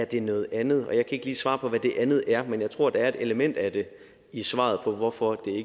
det er noget andet og jeg kan ikke svare på hvad det andet er men jeg tror at der er et element af det i svaret på hvorfor